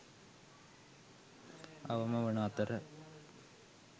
අවම වන අතර